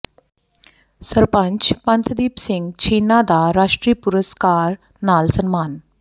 ਸਰਪੰਚ ਪੰਥਦੀਪ ਸਿੰਘ ਛੀਨਾ ਦਾ ਰਾਸ਼ਟਰੀ ਪੁਰਸਕਾਰ ਨਾਲ ਸਨਮਾਨ